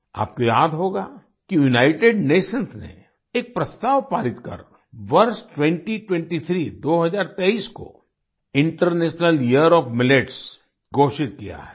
आपको याद होगा कि यूनाइटेड नेशंस ने एक प्रस्ताव पारित कर वर्ष 2023 दो हजार तेईस को इंटरनेशनल यियर ओएफ मिलेट्स घोषित किया है